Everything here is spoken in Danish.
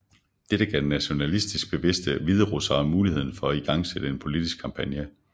Dette gav nationalistisk bevidste hviderussere muligheden for at igangsætte en politisk kampagne